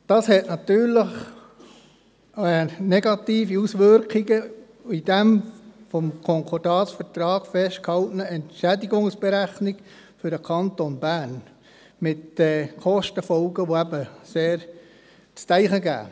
Dies hat natürlich negative Auswirkungen für den Kanton Bern bezüglich der im Konkordatsvertrag festgehaltenen Entschädigungsberechnung – dies mit Kostenfolgen, welche zum Nachdenken anregen.